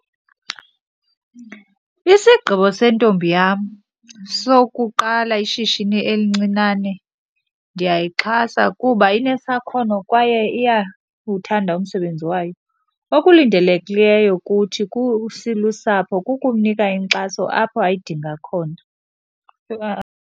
Isigqibo sentombi yam sokuqala ishishini elincinane ndiyayixhasa kuba inesakhono kwaye iyawuthanda umsebenzi wayo. Okulindelekileyo kuthi silusapho kukumnika inkxaso apho ayidinga khona. Yho .